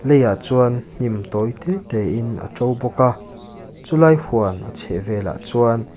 lei ah chuan hnim tawi te te in a ṭo bawk a chulai huan chhehvelah chuan--